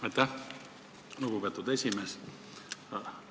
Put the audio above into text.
Aitäh, lugupeetud esimees!